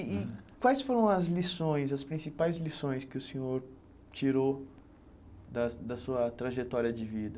E e quais foram as lições, as principais lições que o senhor tirou da da sua trajetória de vida?